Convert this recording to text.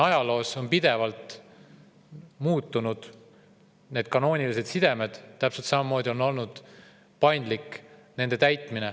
Ajaloos on need kanoonilised sidemed pidevalt muutunud, nende täitmine on olnud paindlik.